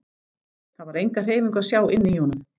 Það var enga hreyfingu að sjá inni í honum.